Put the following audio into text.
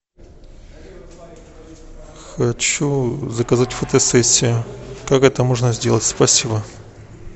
хочу заказать фотосессию как это можно сделать спасибо